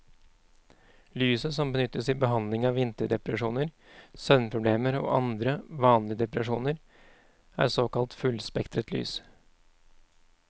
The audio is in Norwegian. Lyset som benyttes i behandling av vinterdepresjoner, søvnproblemer og andre, vanlige depresjoner, er såkalt fullspektret lys.